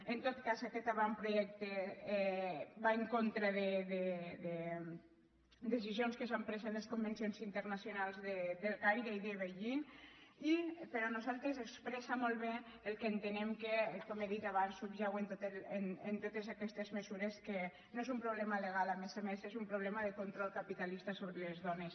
en tot cas aquest avantprojecte va en contra de decisions que s’han pres en els convencions internacionals del caire i de beijing i per nosaltres expressa molt bé el que entenem que com he dit abans subjau en totes aquestes mesures que no és un problema legal a més a més és un problema de control capitalista sobre els dones